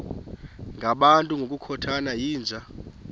ngabantu ngokukhothana yinja